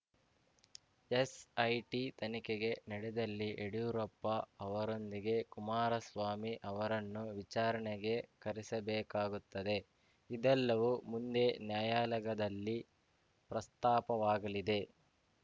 SIT ತನಿಖೆಗೆ ನಡೆದಲ್ಲಿ ಯಡಿಯೂರಪ್ಪ ಅವರೊಂದಿಗೆ ಕುಮಾರಸ್ವಾಮಿ ಅವರನ್ನೂ ವಿಚಾರಣೆಗೆ ಕರೆಸಬೇಕಾಗುತ್ತದೆ ಇದೆಲ್ಲವೂ ಮುಂದೆ ನ್ಯಾಯಾಲಯದಲ್ಲಿ ಪ್ರಸ್ತಾಪವಾಗಲಿದೆ